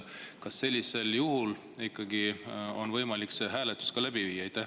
Kas sellisel juhul on ikkagi võimalik see hääletus läbi viia?